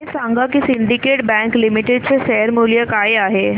हे सांगा की सिंडीकेट बँक लिमिटेड चे शेअर मूल्य काय आहे